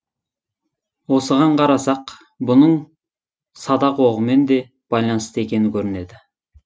осыған қарасақ бұның садақ оғымен де байланысты екені көрінеді